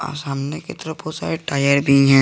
आ सामने एक तरफ बहोत सारे टायर भी है।